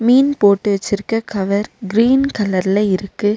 மீன் போட்டு வச்சிருக்க cover green கலர்ல இருக்கு.